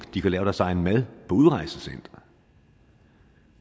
de kan lave deres egen mad på udrejsecentrene